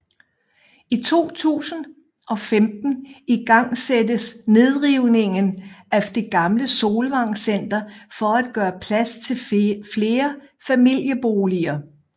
I 2015 igangsættes nedrivningen af det gamle Solvang Center for at gøre plads til flere familieboliger